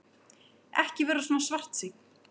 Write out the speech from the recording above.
Ekki vera svona svartsýnn.